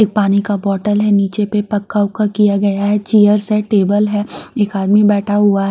एक पानी का बोटल है नीचे पे पक्का उक्का किया गया है चेयर्स है टेबल है एक आदमी बैठा हुआ है।